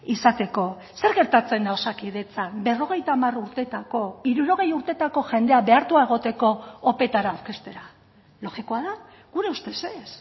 izateko zer gertatzen da osakidetzan berrogeita hamar urtetako hirurogei urtetako jendea behartua egoteko opetara aurkeztera logikoa da gure ustez ez